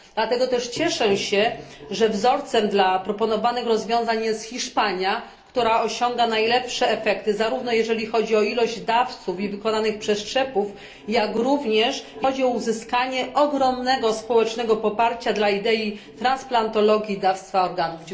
Dlatego też cieszę się, że wzorcem dla proponowanych rozwiązań jest Hiszpania, która osiąga najlepsze efekty, zarówno jeżeli chodzi o ilość dawców i wykonanych przeszczepów, jak również o uzyskanie ogromnego społecznego poparcia dla idei transplantologii i dawstwa organów.